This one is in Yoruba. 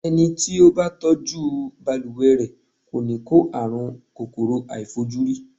Ẹni tí ó bá tọ́jú balùwẹ̀ rẹ̀, kò ní kó àrùn kòkòrò àìfojúrí.